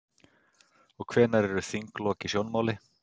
Og hvenær eru þinglok í sjónmáli?